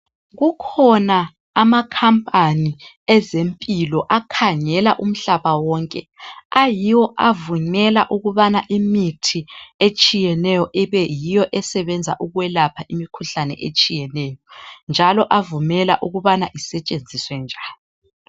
Kukhona amakhampani ezempilo akhangela umhlaba wonke ayiwo avumela ukubana imithi etshiyeneyo ibeyiyo esebenza ukwelapha imikhuhlane etshiyeneyo njalo avumela ukubana isetshenziswe njani